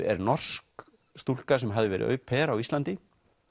er norsk stúlka sem hafði verið au pair á Íslandi